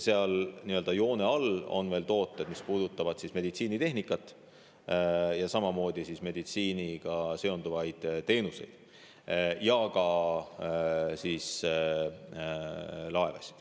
Seal nii-öelda joone all on veel tooteid, mis puudutavad meditsiinitehnikat, meditsiiniga seonduvaid teenuseid ja ka laevasid.